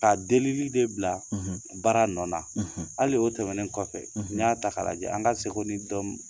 Ka delili de bila baara nɔ na hali o tɛmɛnen kɔfɛ n'i y'a ta k'a lajɛ an ka seko ni dɔn